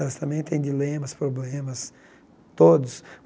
Elas também têm dilemas, problemas, todos.